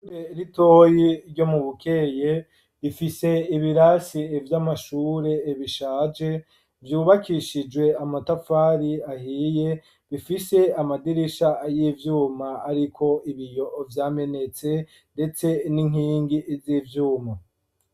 Ishure ritoyi ryo mu bukeye bifise ibirasi vy'amashure ibishaje vyubakishijwe amatafari ahiye bifise amadirisha y'ivyuma ariko ibiyo vyamenetse ndetse n'inkingi z'ivyuma.